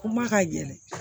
Kuma ka yɛlɛ